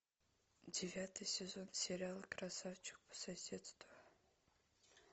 девятый сезон сериала красавчик по соседству